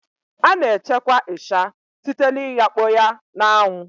Sun drying is the main process used for the preservation of crayfish